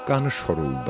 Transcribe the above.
Qanı şoruldadı.